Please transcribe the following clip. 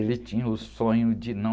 Ele tinha o sonho de não...